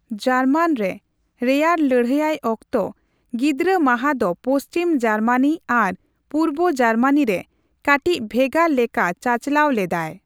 ᱡᱟᱨᱢᱟᱱ ᱨᱮ, ᱨᱮᱭᱟᱲ ᱞᱟᱹᱲᱲᱦᱟᱭ ᱚᱠᱛᱚ, ᱜᱤᱫᱽᱨᱟᱹ ᱢᱟᱦᱟ ᱫᱚ ᱯᱚᱪᱷᱤᱢ ᱡᱟᱨᱢᱟᱱᱤ ᱟᱨ ᱯᱩᱨᱵᱚ ᱡᱟᱨᱢᱟᱱ ᱨᱮ ᱠᱟᱴᱤᱪ ᱵᱷᱮᱜᱟᱨ ᱞᱮᱠᱟ ᱪᱟᱪᱟᱞᱟᱣ ᱞᱮᱫᱟᱭ ᱾